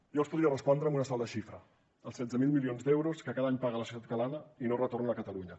jo els podria respondre amb una sola xifra els setze mil milions d’euros que cada any paga la societat catalana i no retornen a catalunya